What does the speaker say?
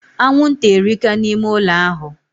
Anwụnta erika na ime ụlọ ahụ